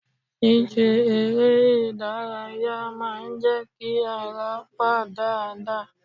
Ṣíṣe eré ìdárayá máa ń jẹ́ kí ara wà dáadáa.